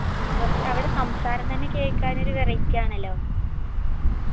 ആ പക്ഷെ അവിട സംസാരം തന്നെ കേക്കാനൊരു variety ആണല്ലോ